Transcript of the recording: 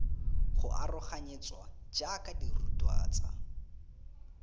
go aroganyetswa jaaka dirutwa tsa